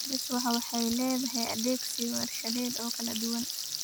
Beeswax waxay leedahay adeegsig warshadeed oo kala duwan.